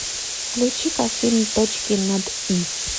включи ка фильм точки над и